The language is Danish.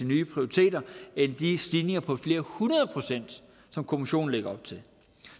nye prioriteter end de stigninger på flere hundrede procent som kommissionen lægger op til